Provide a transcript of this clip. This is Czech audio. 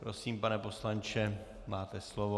Prosím, pane poslanče, máte slovo.